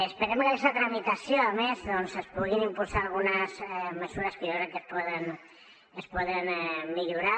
esperem que amb aquesta tramitació a més es puguin impulsar algunes mesures que jo crec que es poden millorar